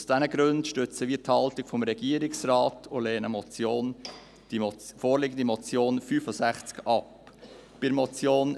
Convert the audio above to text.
Aus diesen Gründen stützen wir die Haltung des Regierungsrates und lehnen die zum Traktandum 65 vorliegende Motion ab.